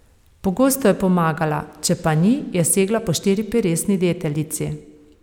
Pogosto je pomagala, če pa ni, je segla po štiriperesni deteljici.